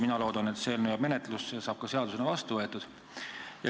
Mina loodan, et see eelnõu jääb menetlusse ja saab ka seadusena vastu võetud.